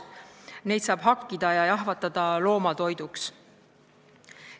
Neid lihakehi saab hakkida ja jahvatada loomatoiduks.